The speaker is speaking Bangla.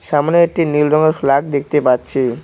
সামনে একটি নীল রঙের ফ্ল্যাগ দেখতে পাচ্ছি।